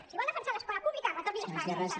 si vol defensar l’escola pública retorni les pagues extres